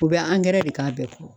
U bɛ de k'a bɛɛ kɔrɔ